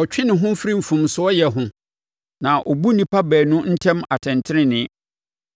Ɔtwe ne ho firi mfomsoɔyɛ ho na ɔbu nnipa baanu ntam atɛntenenee.